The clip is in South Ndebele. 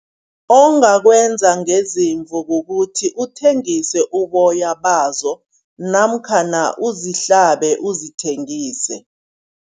Ongakwenza ngeziimvu kukuthi uthengise uboya bazo namkhana uzihlabe uzithengise.